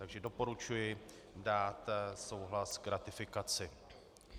Takže doporučuji dát souhlas k ratifikaci.